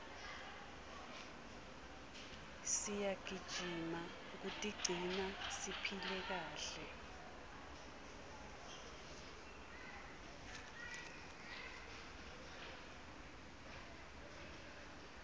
siyagijima kutigcina siphile kahle